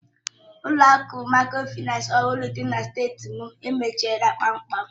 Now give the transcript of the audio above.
Ụlọ akụ Mikrofaịnsi ọhụrụ dị na strịti m emechiela kpamkpam.